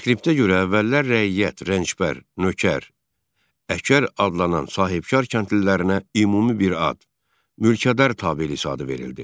Reskriptə görə əvvəllər rəiyyət, rəncbər, nökər, əkər adlanan sahibkar kəndlilərinə ümumi bir ad, mülkədar təbəəliyi adı verildi.